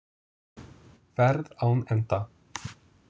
Ferð án enda.